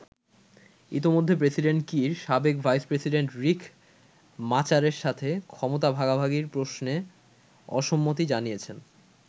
ইতিমধ্যে president Kiir সাবেক vice president Riek মাচারের সাথে ক্ষমতা ভাগাভাগির প্রশ্নে অসম্মতি জানিয়েছেন।